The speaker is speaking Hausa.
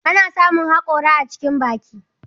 Ana samun haƙora a cikin baki.